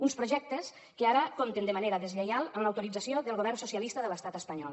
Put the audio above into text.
uns projectes que ara compten de manera deslleial amb l’autorització del govern socialista de l’estat espanyol